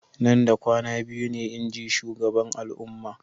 Nan da kwana biyu ne, inji shugaban al'umma.